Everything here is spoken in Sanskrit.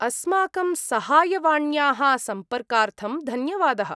अस्माकं सहायवाण्याः सम्पर्कार्थं धन्यवादः।